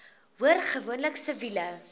hoor gewoonlik siviele